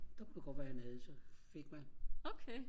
der kunne det godt være han havde så fik man